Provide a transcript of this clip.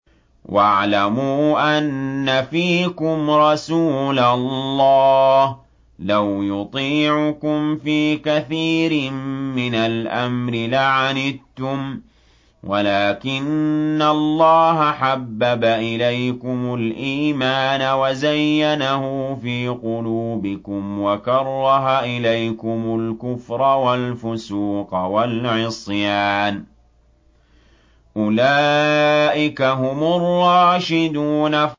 وَاعْلَمُوا أَنَّ فِيكُمْ رَسُولَ اللَّهِ ۚ لَوْ يُطِيعُكُمْ فِي كَثِيرٍ مِّنَ الْأَمْرِ لَعَنِتُّمْ وَلَٰكِنَّ اللَّهَ حَبَّبَ إِلَيْكُمُ الْإِيمَانَ وَزَيَّنَهُ فِي قُلُوبِكُمْ وَكَرَّهَ إِلَيْكُمُ الْكُفْرَ وَالْفُسُوقَ وَالْعِصْيَانَ ۚ أُولَٰئِكَ هُمُ الرَّاشِدُونَ